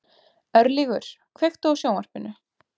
Örlygur, kveiktu á sjónvarpinu.